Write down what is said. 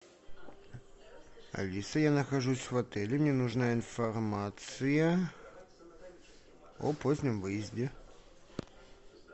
алиса я нахожусь в отеле мне нужна информация о позднем выезде